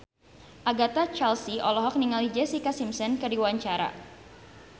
Agatha Chelsea olohok ningali Jessica Simpson keur diwawancara